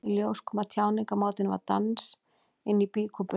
Í ljós kom að tjáningarmátinn var dans inni í býkúpunni.